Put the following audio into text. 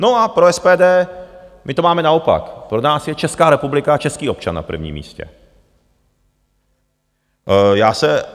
No a pro SPD - my to máme naopak, pro nás je Česká republika a český občan na prvním místě.